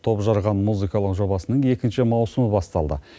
топжарған музыкалық жобасының екінші маусымы басталды